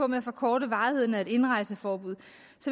med at forkorte varigheden af et indrejseforbud